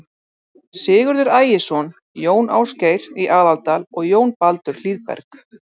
Sigurður Ægisson, Jón Ásgeir í Aðaldal og Jón Baldur Hlíðberg.